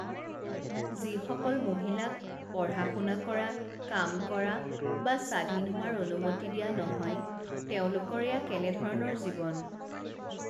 যিসকল মহিলাক পঢ়া শুনা কৰা কাম কৰা বা স্বাধীন হোৱাৰ অনুমতি দিয়া নহয় তেওঁলোকৰ এয়া কেনে ধৰণৰ জীৱন?